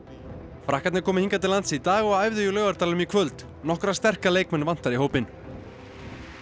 frakkarnir komu hingað til lands í dag og æfðu í Laugardalnum í kvöld nokkra sterka leikmenn vantar í hópinn og